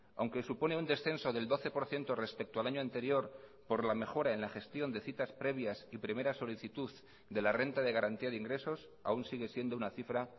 aunque supone un descenso del doce por ciento respecto al año anterior por la mejora en la gestión de citas previas y primera solicitud de la renta de garantía de ingresos aún sigue siendo una cifra